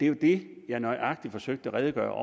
jo det jeg nøjagtig forsøgte at redegøre